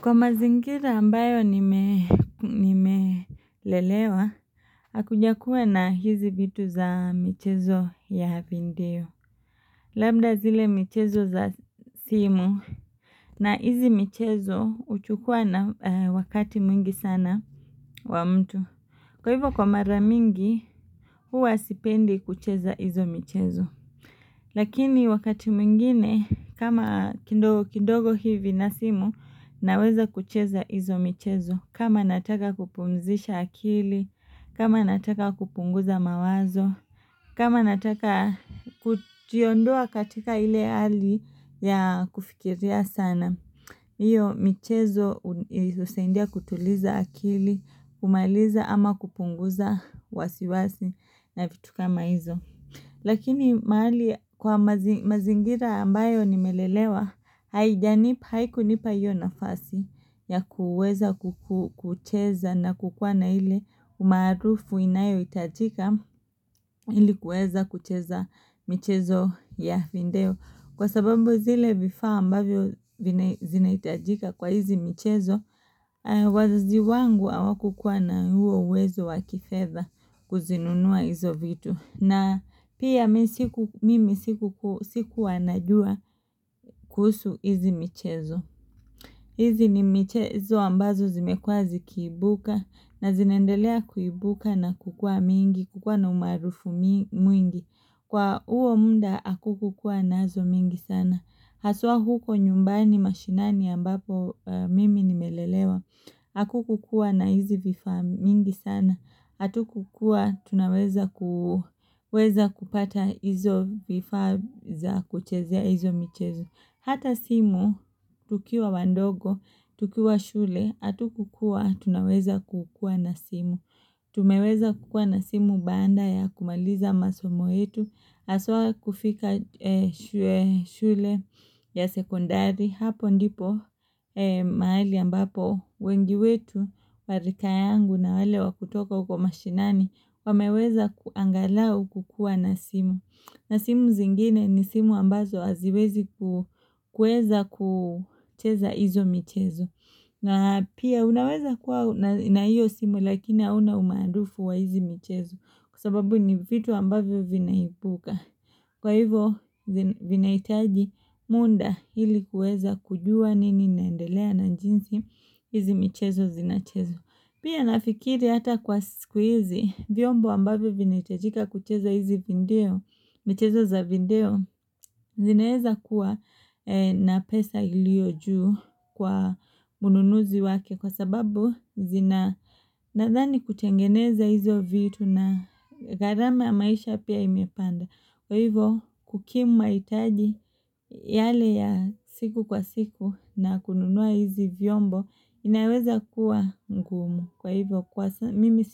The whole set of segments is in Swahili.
Kwa mazingira ambayo nimelelewa, hakujakuwa na hizi vitu za michezo ya video. Labda zile michezo za simu na hizi michezo huchukua na wakati mwingi sana wa mtu. Kwa hivyo kwa maramingi huwa sipendi kucheza hizo michezo Lakini wakati mwingine kama kidogo hivi na simu naweza kucheza hizo michezo kama nataka kupumzisha akili, kama nataka kupunguza mawazo, kama nataka kujiondoa katika ile hali ya kufikiria sana. Iyo michezo husaidia kutuliza akili, kumaliza ama kupunguza wasiwasi na vitu kama hizo. Lakini mahali kwa mazingira ambayo nimelelewa haijanipa haikunipa hiyo nafasi ya kuweza kucheza na kukuwa na ile umaarufu inayohitajika ili kuweza kucheza michezo ya vindeo. Kwa sababu zile vifaa ambavyo zinahitajika kwa hizi michezo wazazi wangu hawakukuwa na huo uwezo wa kifedha kuzinunua hizo vitu na pia mimi sikuwa najua kuhusu hizi michezo hizi ni michezo ambazo zimekuwa zikiibuka na zinaendelea kuibuka na kukua mingi kukua na umaarufu mwingi. Kwa huo muda hakukukua naazo mingi sana. Haswaa huko nyumbani mashinani ambapo mimi nimelelewa, hakukukua na hizi vifaa mingi sana, hatukukua tunaweza kupata hizo vifaa za kuchezea hizo michezo. Hata simu, tukiwa wandogo, tukiwa shule, hatukukuwa, tunaweza kukua na simu. Tumeweza kukua na simu baada ya kumaliza masomo yetu, haswaa kufika shule ya sekondari. Hapo ndipo mahali ambapo wengi wetu wa rika yangu na wale wa kutoka huko mashinani wameweza angalau kukuwa na simu na simu zingine ni simu ambazo haziwezi kuweza kucheza izo michezo na pia unaweza kuwa na iyo simu lakini hauna umaarufu wa hizi michezo kwa sababu ni vitu ambavyo vinaibuka Kwa hivo, vinahitaji muda hili kuweza kujua nini inaendelea na jinsi hizi mchezo zinachezwa. Pia nafikiri hata kwa sikuhizi, viombo ambavyo vinahitajika kucheza hizi vindeo, michezo za vindeo, zineheza kuwa na pesa iliyo juu kwa mununuzi wake kwa sababu zina nadhani kutengeneza hizo vitu na gharama ya maisha pia imepanda. Kwa hivo kukimu mahitaji yale ya siku kwa siku na kununua hizi vyombo inaweza kuwa ngumu. Kwa hivo kwa mimi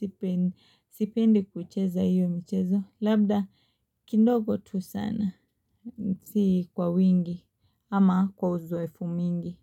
sipendi kucheza hiyo mchezo labda kindogo tu sana si kwa wingi ama kwa uzoefu mingi.